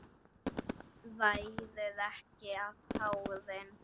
Ræður ekki við tárin.